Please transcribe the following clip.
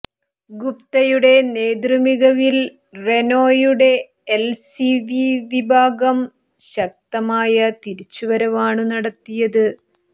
ഗുപ്തയുടെ നേതൃമികവിൽ റെനോയുടെ L C V വിഭാഗം ശക്തമായ തിരിച്ചുവരവാണു നടത്തിയത്